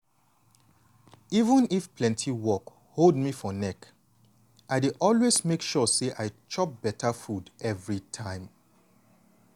even if plenty work hold me for neck i dey always make sure say i chop beta food everytime.